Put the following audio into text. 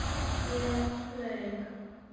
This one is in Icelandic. Ég laug.